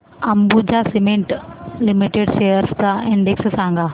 Ambuja cement limited shares चा index सांगा